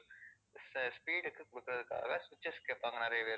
இந்த speed க்கு குடுக்குறதுக்காக switches கேப்பாங்க நிறைய பேரு,